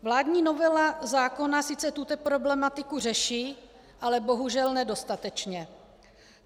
Vládní novela zákona sice tuto problematiku řeší, ale bohužel nedostatečně.